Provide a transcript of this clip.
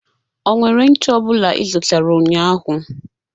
Ọ nwere ncha ọbụla ị zụtara ụnyaahụ?